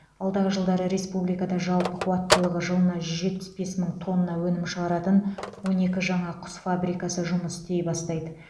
алдағы жылдары республикада жалпы қуаттылығы жылына жүз жетпіс бес мың тонна өнім шығаратын он екі жаңа құс фабрикасы жұмыс істей бастайды